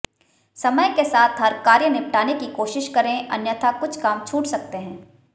समय के साथ हर कार्य निपटाने की कोशिश करें अन्यथा कुछ काम छूट सकते है